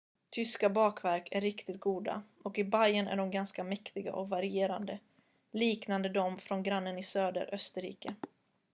tyska bakverk är riktigt goda och i bayern är de ganska mäktiga och varierade liknande dem från grannen i söder österrike